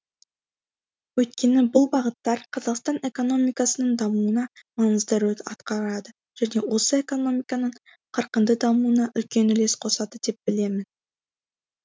өйткені бұл бағыттар қазақстан экономикасының дамуына маңызды рөл атқарады және осы экономиканың қарқынды дамуына үлкен үлес қосады деп білемін